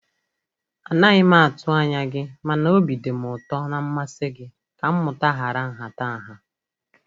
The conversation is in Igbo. A naghi m atụ anya gi mana obi dim ụtọ na mmasị gi ka mmụta hara nhatanha.